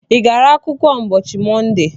I gara akwụkwọ ụbọchị Mọnde?